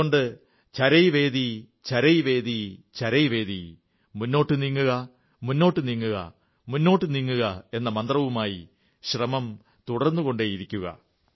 അതുകൊണ്ട് ചരൈവേതിചരൈവേതിചരൈവേതി മുന്നോട്ടു നീങ്ങുക മുന്നോട്ടു നീങ്ങുക എന്ന മന്ത്രവുമായി ശ്രമം തുടർന്നുകൊണ്ടേയിരിക്കുക